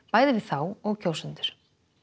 bæði við þá og kjósendur